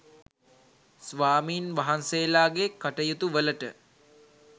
ස්වාමීන් වහන්සේලාගේ කටයුතු වලට